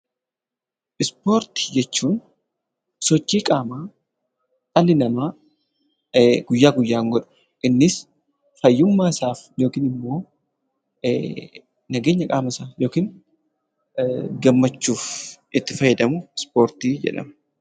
Ispoortii jechuun sochii qaamaa dhalli namaa guyyaa guyyaan godhu, innis fayyummaa isaaf yookiin immoo nageenya qaama isaaf yookiin gammachuuf itti fayyadamu Ispoortii jedhama.